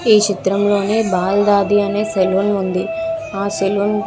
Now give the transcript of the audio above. ఈ చిత్రంలోని బాల దాది అనే సెలూన్ ఉంది. ఆ సెలూన్ --